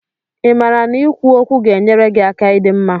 Ị maara na ikwu okwu ga-enyere gị aka ịdi mma?